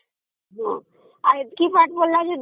ହଁ ଆଉ ଏତିକି ପଢିଲା ଯେ